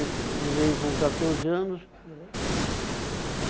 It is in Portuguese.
Ele veio com catorze anos.